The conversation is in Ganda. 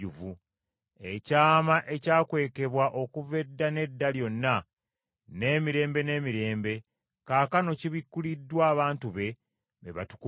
Ekyama ekyakwekebwa okuva edda n’edda lyonna, n’emirembe n’emirembe, kaakano kibikkuliddwa abantu be, be batukuvu be.